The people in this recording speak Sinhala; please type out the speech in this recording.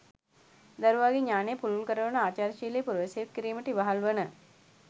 දරුවාගේ ඥානය පුළුල් කරවන ආචාරශීලි පුරවැසියෙකු කිරීමට ඉවහල් වන